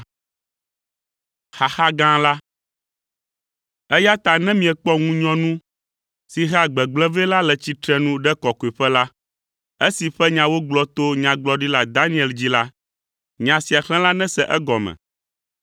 “Eya ta ne miekpɔ ‘ŋunyɔnu si hea gbegblẽ vɛ la’ le tsitre ɖe Kɔkɔeƒe la, esi ƒe nya wogblɔ to Nyagblɔɖila Daniel dzi la, nya sia xlẽla nese egɔme,